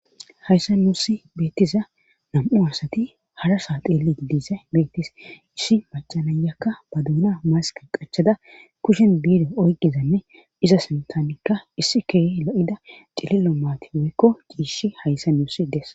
hayssa nuussi beettiza nam7u asati harasa tilli diise beetis issi macanayakka ba duuna masqe qachada kushen biido oyqizanne iza sintanikka issi keye lo7ida cilillo maati woykko ciishi hayssa nuusi des